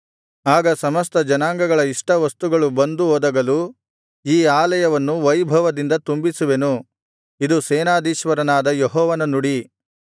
ಆಗ ಸಮಸ್ತ ಜನಾಂಗಗಳ ಇಷ್ಟವಸ್ತುಗಳು ಬಂದು ಒದಗಲು ಈ ಆಲಯವನ್ನು ವೈಭವದಿಂದ ತುಂಬಿಸುವೆನು ಇದು ಸೇನಾಧೀಶ್ವರನಾದ ಯೆಹೋವನ ನುಡಿ